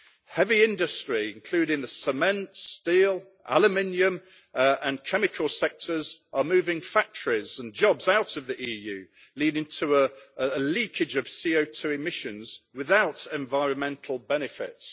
Heavy industry, including the cement, steel, aluminium and chemical sectors, is moving factories and jobs out of the EU, leading to a leakage of CO2 emissions without environmental benefits.